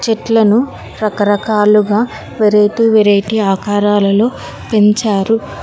చెట్లను రకరకాలుగా variety variety ఆకారాలలో పెంచారు.